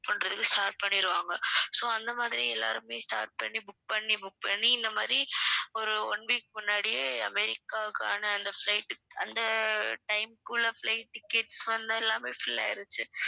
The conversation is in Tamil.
பண்றதுக்கு start பண்ணிடுவாங்க so அந்த மாதிரி எல்லாருமே start பண்ணி book பண்ணி book பண்ணி இந்த மாதிரி ஒரு one week முன்னாடியே அமெரிக்காவுக்கான அந்த flight அந்த time குள்ள flight tickets வந்து எல்லாமே fill ஆயிடுச்சு